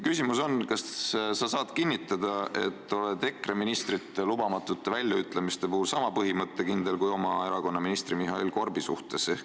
Küsimus on: kas sa saad kinnitada, et oled EKRE ministrite lubamatute väljaütlemiste puhul sama põhimõttekindel, kui olid oma erakonna ministri Mihhail Korbi suhtes?